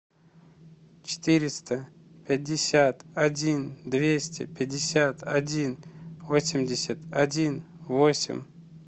четыреста пятьдесят один двести пятьдесят один восемьдесят один восемь